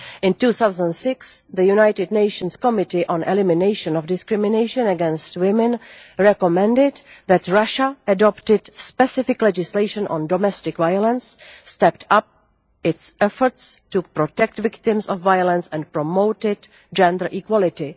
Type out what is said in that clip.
In 2006, the United Nations Committee on Elimination of Discrimination against Women recommended that Russia adopted specific legislation on domestic violence, stepped up its efforts to protect victims of violence and promoted gender equality.